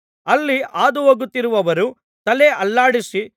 ಅಲ್ಲಿ ಹಾದುಹೋಗುತ್ತಿರುವವರು ತಲೆ ಅಲ್ಲಾಡಿಸಿ